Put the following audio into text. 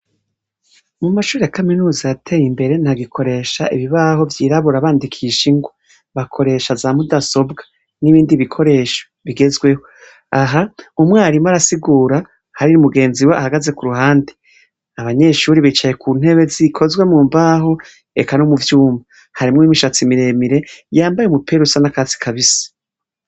Amashure ya kaminuza arateye imbere ntagikoresha ibibaho vyirabura bandikisha ingwa. BAkoresha zamudasobwa n'ibindi bikoresho bigezweho. Aha umwarimu arasigura uwundi mugenziwe ahagaze ku ruhande. Bicaye ku ntebe zikozwe mu vyuma. Har n... imishatsi miremire yambaye umupira usa n'akatsi kabisi.